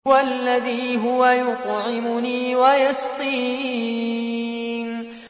وَالَّذِي هُوَ يُطْعِمُنِي وَيَسْقِينِ